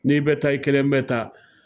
N'i bɛ taa i kelen bɛ taa